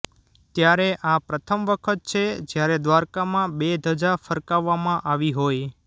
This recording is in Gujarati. ત્યારે આ પ્રથમવખત છે જ્યારે દ્વારકામાં બે ધજા ફરકાવવામાં આવી હોય